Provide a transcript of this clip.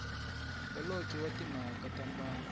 holobye wa timhaka ta mbango